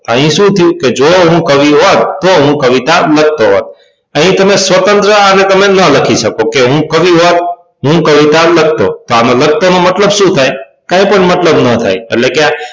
અહી શું થયું કે જો હું કવિ હોત તો હું કવિતા લખતો હોત અહી તમે સ્વતંત્ર આ રીતે તમે ન લખી શકો હું કવિ હોત હું કવિતા લખતો તો આમાં લખતો નો મતલબ શું થાય કઇ પણ મતલબ ન થાય એટલે કે